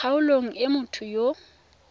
kgaolong e motho yo o